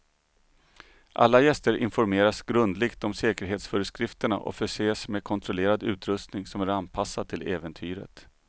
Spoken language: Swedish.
Alla gäster informeras grundligt om säkerhetsföreskrifterna och förses med kontrollerad utrustning som är anpassad till äventyret.